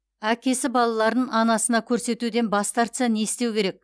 әкесі балаларын анасына көрсетуден бас тартса не істеу керек